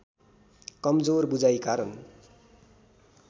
कमजोर बुझाइ कारण